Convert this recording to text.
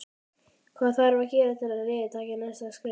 Hvað þarf að gera til að liðið taki næsta skref?